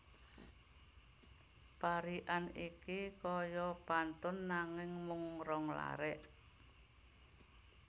Parikan iki kaya pantun nanging mung rong larik